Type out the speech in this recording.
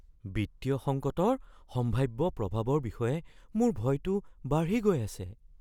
বিত্তীয় সংকটৰ সম্ভাৱ্য প্ৰভাৱৰ বিষয়ে মোৰ ভয়টো বাঢ়ি গৈ আছে।